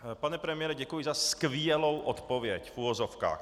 Pane premiére, děkuji za skvělou odpověď - v uvozovkách.